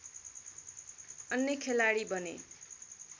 अन्य खेलाडी बने